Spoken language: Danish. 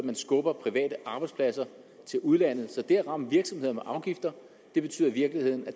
man skubber private arbejdspladser til udlandet altså det at ramme virksomheder med afgifter betyder i virkeligheden at